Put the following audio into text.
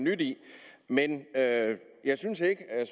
nyt i men jeg synes ikke at